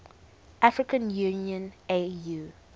african union au